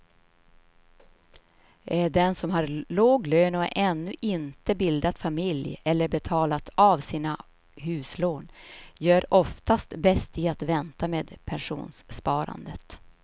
Den som har låg lön och ännu inte bildat familj eller betalat av sina huslån gör oftast bäst i att vänta med pensionssparandet.